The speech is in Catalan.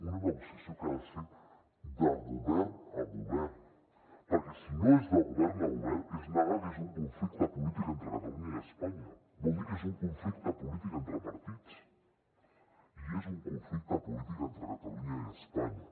una negociació que ha de ser de govern a govern perquè si no és de govern a govern és negar que és un conflicte polític entre catalunya i espanya vol dir que és un conflicte polític entre partits i és un conflicte polític entre catalunya i espanya